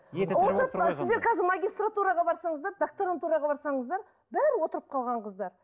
сіздер қазір магистратураға барсаңыздар докторантураға барсаңыздар бәрі отырып қалған қыздар